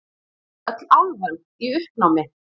Öll álfan í uppnámi.